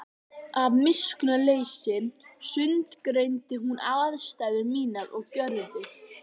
Af miskunnarleysi sundurgreindi hún ástæður mínar og gjörðir.